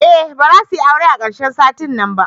Eh bazasuyi aure a karshen satin nan ba.